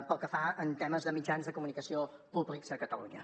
pel que fa a temes de mitjans de comunicació públics a catalunya